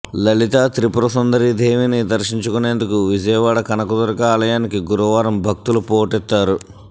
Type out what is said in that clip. లలితా త్రిపుర సుందరి దేవిని దర్శించుకునేందుకు విజయవాడ కనక దుర్గా ఆలయానికి గురువారం భక్తులు పోటెత్తారు